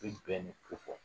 I bɛ bɛn de kofɔ